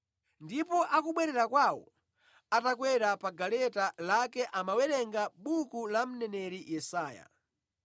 ndipo akubwerera kwawo atakwera pa galeta lake amawerenga buku la mneneri Yesaya.